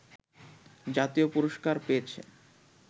জাতীয় পুরষ্কার পেয়েছে